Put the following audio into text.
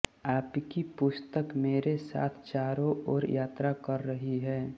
आपकी पुस्तक मेरे साथ चारों ओर यात्रा कर रही है